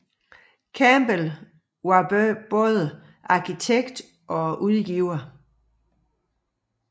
Campbell var både arkitekt og udgiver